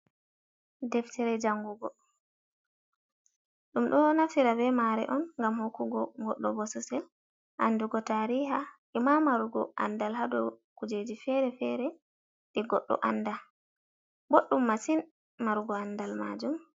Deftere jangugo ɗum ɗo naftira be mare on gam hokkugo goɗɗo bo sosel andugo tariha, ima marugo andal hado kujeji fere-fere ɗi goɗɗo anda, boɗɗum masin marugo andal majum.